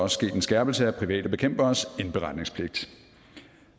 sket en skærpelse af private bekæmperes indberetningspligt